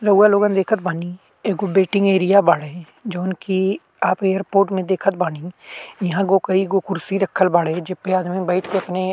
रउआ लोग देखत बानी। एगो वेटिंग एरिया बाड़े। जोवन की आप एयरपोर्ट में देखत बानी। यहाँ कई गो कुर्सी रखल बाड़े जेपे आदमी बैठके अपने --